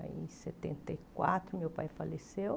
Aí, em setenta e quatro, meu pai faleceu.